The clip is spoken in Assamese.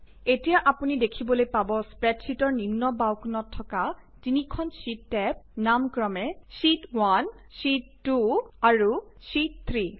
এতিয়া অপুনি দেখিবলৈ পাব স্প্ৰেডশ্বিটৰ নিম্ন বাওঁ কোনত থকা তিনিখন শ্বিট টেব নাম ক্ৰমে শ্বিট 1 শ্বিট 2 আৰু শ্বিট 3